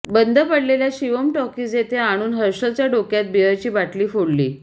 बंद पडलेल्या शिवम टॉकीज येथे आणून हर्षलचा डोक्यात बिअरची बाटली फोडली